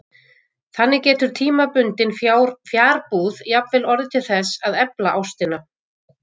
Þannig getur tímabundin fjarbúð jafnvel orðið til þess að efla ástina.